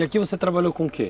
E aqui você trabalhou com o quê?